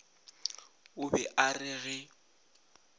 o be a re ge